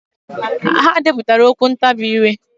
Ha depụtara okwu ntabi ire.